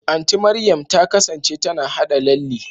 Anti Mariam ta kasance tana haɗa lalle.